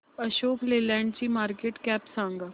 अशोक लेलँड ची market cap सांगा